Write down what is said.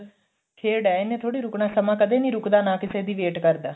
ਖੇਡ ਏ ਇਹਨੇ ਥੋੜੀ ਰੁਕਨਾ ਸਮਾਂ ਕਦੇ ਨੀ ਰੁੱਕਦਾ ਨਾ ਕਿਸੇ ਦੀ wait ਕਰਦਾ